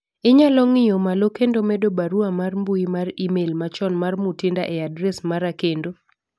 inyalo ng'iyo malo kendo medo barua mar mbui mar email machon mar Mutinda e adre mara kendo